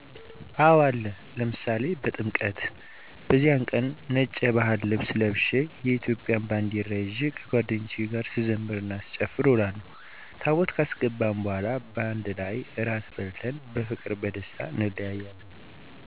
አወ አለ፤ ለምሳሌ በጥምቀት፦ በዚያን ቀን ነጭ የባህል ልብስ ለብሸ የኢትዮጵያን ባንደራ ይዠ ከጓደኞቸ ጋር ስዘምር እና ስጨፍር እውላለሁ፤ ታቦት ካስገባን በኋላ ባንድ ላይ እራት በልተን በፍቅርና ቀደስታ እንለያያለን።